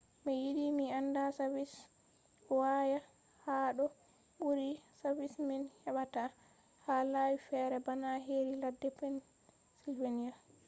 mi yiɗi mi anda savis waya haɗo ɓuri savis min heɓata ha lawi fere bana heri ladde pensilveniya